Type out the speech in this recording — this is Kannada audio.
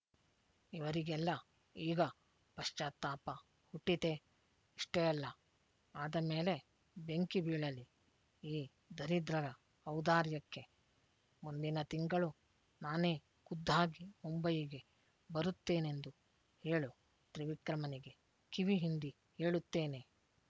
ಇವರಿಗೆಲ್ಲ ಈಗ ಪಶ್ಚಾತ್ತಾಪ ಹುಟ್ಟಿತೇ ಇಷ್ಟೇ ಅಲ್ಲ ಆದ ಮೇಲೆ ಬೆಂಕಿ ಬೀಳಲಿ ಈ ದರಿದ್ರರ ಔದಾರ್ಯಕ್ಕೆ ಮುಂದಿನ ತಿಂಗಳು ನಾನೇ ಖುದ್ದಾಗಿ ಮುಂಬಯಿಗೆ ಬರುತ್ತೇನೆಂದು ಹೇಳು ತ್ರಿವಿಕ್ರಮನಿಗೆ ಕಿವಿ ಹಿಂಡಿ ಹೇಳುತ್ತೇನೆ